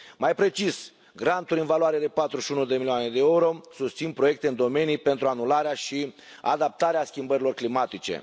Mai precis, granturi în valoare de 41 de milioane de euro susțin proiecte în domenii pentru anularea și adaptarea la schimbările climatice.